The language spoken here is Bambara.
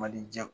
Mali jɛ